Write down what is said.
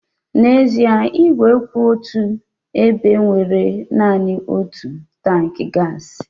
N'ezie, ígwè kwụ otù ebe nwere naanị otu tankị gaasị.